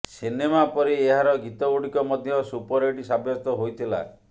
cinema ପରି ଏହାର ଗୀତ ଗୁଡିକ ମଧ୍ୟ ସୁପରହିଟ୍ ସାବ୍ୟସ୍ତ ହୋଇଥିଲା